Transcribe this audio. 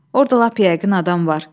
Orda lap yəqin adam var.